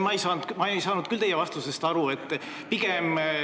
Austatud minister, ma küll teie vastusest aru ei saanud.